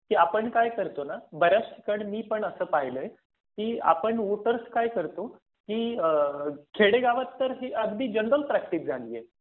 की आपण काय करतो ना. बराच ठिकाणी मी पण असं पाहिलय कि आपण वोटर्स काय करतो की ह खेडेगावात तर ही अगदी जनरल प्रॅक्टिस झाली आहे